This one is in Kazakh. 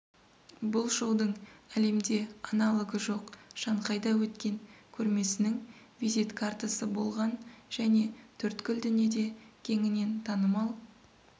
бұл шоудың әлемде аналогы жоқ шанхайда өткен көрмесінің визит картасы болған және төрткүл дүниеде кеңінен танымал